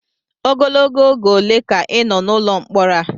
Ogologo oge ole ka ị nọ n'ụlọ mkpọrọ a?